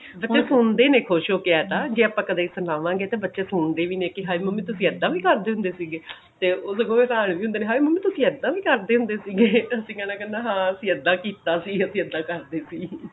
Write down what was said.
ਬੱਚੇ ਸੁਣਦੇ ਨੇ ਖੁਸ਼ ਹੋ ਕੇ ਐਂ ਤਾਂ ਜੇ ਕਦੇ ਆਪਾਂ ਸੁਣਾਵਾਂਗੇ ਤਾਂ ਬੱਚੇ ਸੁਣਦੇ ਵੀ ਨੇ ਕਿ ਹਾਏ ਮੰਮੀ ਤੁਸੀਂ ਏਦਾਂ ਵੀ ਕਰਦੇ ਹੁੰਦੇ ਸੀਗੇ ਤੇ ਉਹਦੇ ਕੋਲ ਹਾਏ ਮੰਮੀ ਤੁਸੀਂ ਏਦਾਂ ਵੀ ਕਰਦੇ ਹੁੰਦੇ ਸੀਗੇ ਅਸੀਂ ਕਿਹਾ ਕਰਨਾ ਹਾਂ ਅਸੀਂ ਏਦਾਂ ਕੀਤਾ ਸੀ ਅਸੀਂ ਏਦਾਂ ਕਰਦੇ ਸੀ